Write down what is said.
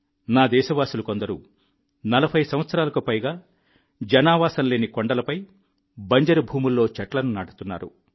నా దేశవాసులు కొందరు 4040 సంవత్సరాలుగా జనావాసం లేని కొండలపై బంజరు భూముల్లో చెట్లను నాటుతున్నారు